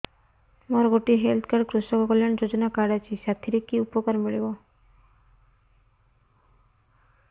ମୋର ଗୋଟିଏ health card କୃଷକ କଲ୍ୟାଣ ଯୋଜନା କାର୍ଡ ଅଛି ସାଥିରେ କି ଉପକାର ମିଳିବ